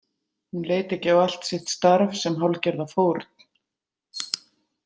Hún leit ekki á allt sitt starf sem hálfgerða fórn?